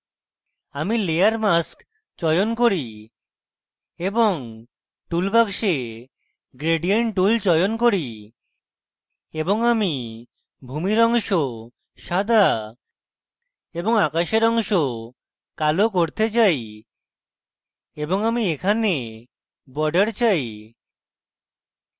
আমি layer mask চয়ন করি এবং tool box gradient tool চয়ন করি এবং আমি ভূমির অংশ সাদা এবং আকাশের অংশ কালো করতে চাই এবং আমি এখানে border চাই